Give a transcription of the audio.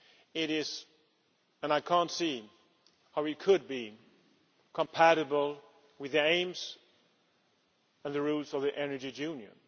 It is not and I cannot see how it could be compatible with the aims and the rules of the energy union.